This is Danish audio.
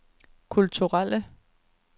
kulturelle